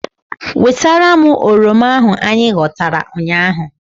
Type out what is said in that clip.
Wetara m oroma ahu anyị ghọtara ụnyaahụ!